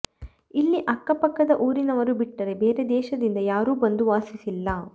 ಇಲ್ಲಿ ಅಕ್ಕಪಕ್ಕದ ಊರಿನವರು ಬಿಟ್ಟರೆ ಬೇರೆ ದೇಶದಿಂದ ಯಾರೂ ಬಂದು ವಾಸಿಸಿಲ್ಲ